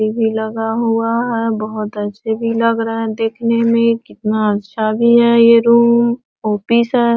TV. लगा हुआ है बहुत अच्छे भी लग रहे है देखने में कितना अच्छा है ये रूम ऑफिस है।